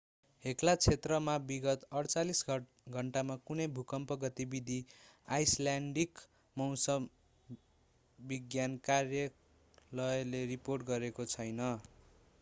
Hekla क्षेत्रमा विगत 48 घण्टामा कुनै भूकम्प गतिविधि आईसल्यान्डिक मौसम विज्ञान कार्यालयले रिपोर्ट गरेको छैन